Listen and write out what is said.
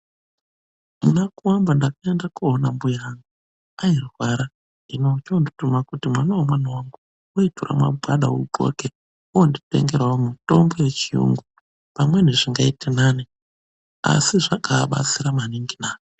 Muna kuamba ndakaenda koona mbuya angu airwara. Hino ochoondituma kuti mwana wemwana wangu woitora magwada udxoke woonditengerawo mutombo wechiyungu pamweni zvingaite nani, asi zvakaabatsira maningi na!